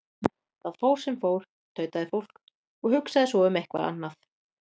Það fór sem fór, tautaði fólk, og hugsaði svo um eitthvað annað.